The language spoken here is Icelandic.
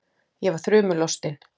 Ég var þrumu lostin.